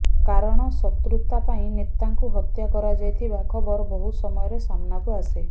କାରଣ ଶତ୍ରୁତା ପାଇଁ ନେତାଙ୍କୁ ହତ୍ୟା କରାଯାଇଥିବା ଖବର ବହୁ ସମୟରେ ସାମ୍ନାକୁ ଆସେ